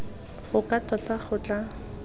go ka tota go tla